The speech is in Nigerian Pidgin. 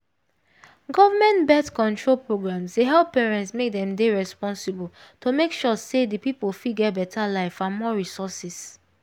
government birth control programs dey help parent make dem dey responsible to make sure say the people fit get better life and more resourses